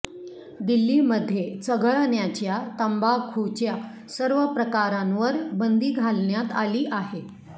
दिल्लीमध्ये चघळण्याच्या तंबाखूच्या सर्व प्रकारांवर बंदी घालण्यात आली आहे